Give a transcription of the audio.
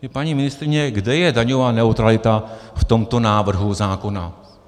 Paní ministryně, kde je daňová neutralita v tomto návrhu zákona?